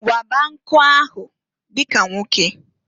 Waba nkụ ahụ dika nwoke!